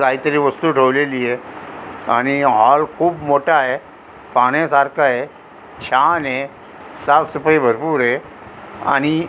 कायतरी वस्तू ठेवलेलीय आणि हाॅल खुप मोठाय पहाण्या सारखाय छानय साफ सफाई भरपुरय आणि --